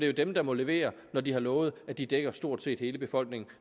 jo dem der må levere når de har lovet at de dækker stort set hele befolkningen